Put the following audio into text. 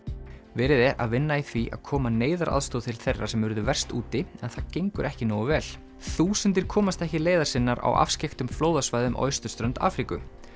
verið er að vinna í því að koma neyðaraðstoð til þeirra sem urðu verst úti en það gengur ekki nógu vel þúsundir komast ekki leiðar sinnar á afskekktum flóðasvæðum á austurströnd Afríku